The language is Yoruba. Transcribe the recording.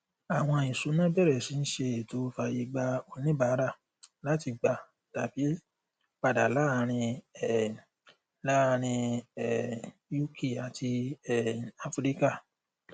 àwọn ìṣúnná bẹrẹ sí ń ṣe ètò fàyè gba oníbàárà láti gbà tàbí padà láàárín um láàárín um uk àti um áfíríkà